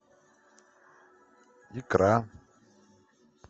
икра